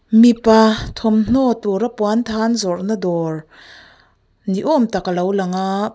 mipa thawmhnaw tura puanthan zawrna dawr ni awm tak a lo lang a.